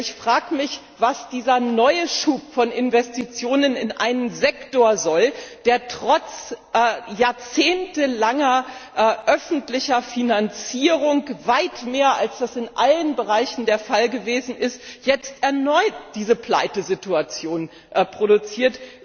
Ich frage mich, was dieser neue Schub von Investitionen in einen Sektor soll, der trotz jahrzehntelanger öffentlicher Finanzierung weit mehr als das in allen Bereichen der Fall gewesen ist jetzt erneut diese Pleitesituation produziert.